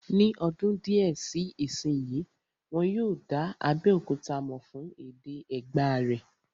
Ní ọdún díẹ̀ sí ìsínyi, wọ́n yóò dá Abéòkúta mọ̀ fún èdè Ẹ̀gbá rẹ̀